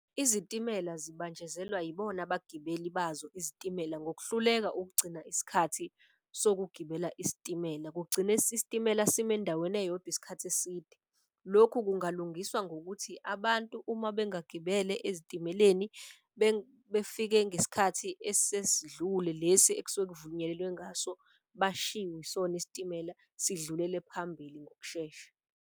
Izitimela zibanjezelwa yibona abagibeli bazo izitimela ngokuhluleka ukugcina isikhathi sokugibela isitimela. Kugcina isitimela sime endaweni eyodwa isikhathi eside. Lokhu kungalungiswa ngokuthi abantu uma bengagibele ezitimeleni befike ngesikhathi esesidlule lesi ekusuke kuvunyelwene ngaso bashiwe isona isitimela, sidlulele phambili ngokushesha.